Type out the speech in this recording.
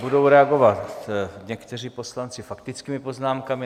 Budou reagovat někteří poslanci faktickými poznámkami.